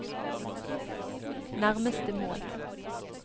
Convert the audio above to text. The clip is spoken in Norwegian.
nærmeste mål